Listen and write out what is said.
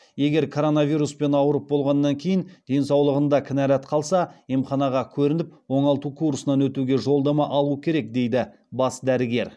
егер коронавируспен ауырып болғаннан кейін денсаулығында кінәрат қалса емханаға көрініп оңалту курсынан өтуге жолдама алу керек дейді бас дәрігер